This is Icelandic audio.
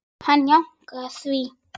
Hann jánkaði því.